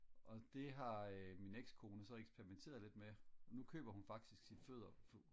og det har øh min exkone så experimenteret lidt med og nu køber hun faktisk sit foder